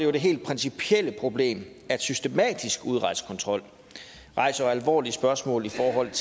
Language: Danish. jo det helt principielle problem at systematisk udrejsekontrol rejser alvorlige spørgsmål i forhold